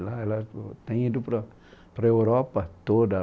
Lá ela, ela tem ido para, para a Europa toda.